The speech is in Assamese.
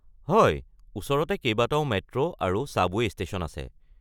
হয়, ওচৰতে কেইবাটাও মেট্ৰো আৰু ছাবৱে’ ষ্টেশ্যন আছে।